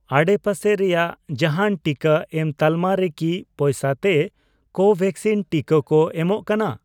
ᱟᱰᱮᱯᱟᱥᱮ ᱨᱮᱭᱟᱜ ᱡᱟᱦᱟᱱ ᱴᱤᱠᱟᱹ ᱮᱢ ᱛᱟᱞᱢᱟ ᱨᱮᱠᱤ ᱯᱚᱭᱥᱟ ᱛᱮ ᱠᱳᱵᱷᱮᱠᱥᱤᱱ ᱴᱤᱠᱟᱹ ᱠᱚ ᱮᱢᱚᱜ ᱠᱟᱱᱟ ?